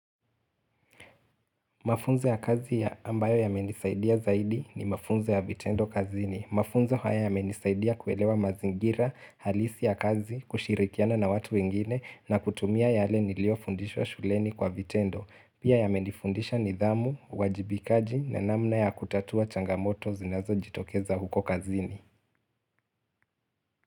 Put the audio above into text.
Mafunzo ya kazi ya ambayo ya menisaidia zaidi ni Mafunzo ya vitendo kazini. Mafunzo haya yamenisaidia kuelewa mazingira, halisi ya kazi, kushirikiana na watu wengine na kutumia yale nilio fundishwa shuleni kwa vitendo. Pia yamenifundisha nidhamu, uwajibikaji na namna ya kutatua changamoto zinazojitokeza huko kazini.